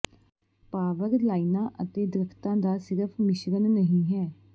power ਲਾਈਨਾਂ ਅਤੇ ਦਰੱਖਤਾਂ ਦਾ ਸਿਰਫ਼ ਮਿਸ਼ਰਣ ਨਹੀਂ ਹੈ